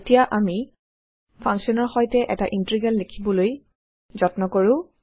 এতিয়া আমি ফাংকশ্যনৰ সৈতে এটা ইন্টিগ্ৰেল লিখিবলৈ যত্ন কৰো